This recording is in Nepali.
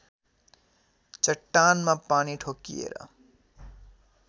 चट्टानमा पानी ठोक्किएर